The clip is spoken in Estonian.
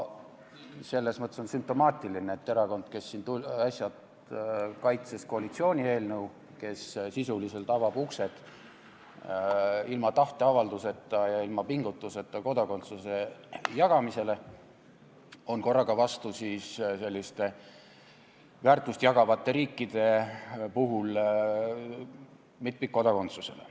Selles mõttes on sümptomaatiline, et erakond, kes siin äsja kaitses koalitsiooni eelnõu, kes sisuliselt avab uksed ilma tahteavalduseta ja ilma pingutuseta kodakondsuse jagamisele, on korraga vastu väärtust jagavate riikide mitmikkodakondsusele.